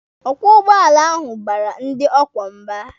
Ọkwọ ụgbọala ahụ baara ndị ọ kwọ mba.